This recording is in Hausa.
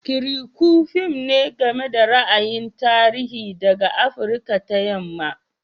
Kirikou fim ne game da ra'ayin tarihi daga Afirka ta Yamma.